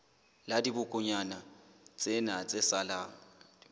la dibokonyana tsena tse salang